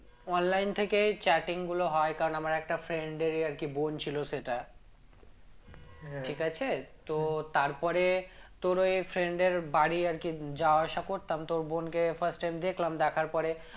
Online থেকেই chatting গুলো হয় কারণ আমার একটা friend এরই আরকি বোন ছিল সেটা ঠিক আছে? তো তারপরে তোর ওই friend এর বাড়ি আরকি যাওয়া আসা করতাম তো ওর বোনকে first time দেখলাম দেখার পরে